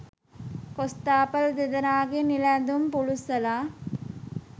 කොස්තාපල් දෙදෙනාගේ නිල ඇඳුම් පුළුස්සලා